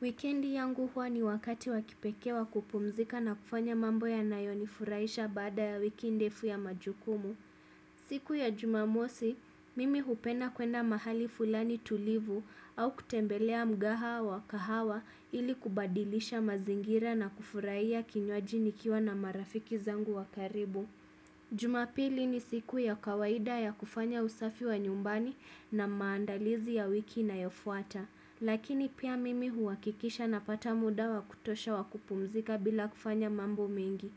Wikendi yangu huwa ni wakati wa kipekee wa kupumzika na kufanya mambo yanayonifurahisha baada ya wiki ndefu ya majukumu. Siku ya jumamosi, mimi hupenda kuenda mahali fulani tulivu au kutembelea mgaha wa kahawa ili kubadilisha mazingira na kufurahia kinywaji nikiwa na marafiki zangu wa karibu. Jumapili ni siku ya kawaida ya kufanya usafi wa nyumbani na maandalizi ya wiki inayofuata, lakini pia mimi huhakikisha napata muda wa kutosha wa kupumzika bila kufanya mambo mengi.